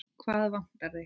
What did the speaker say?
Hvað vantar þig?